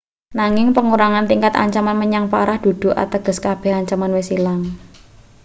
nanging pengurangan tingkat ancaman menyang parah dudu ateges kabeh ancaman wis ilang